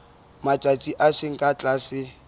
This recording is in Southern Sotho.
matsatsi a seng ka tlase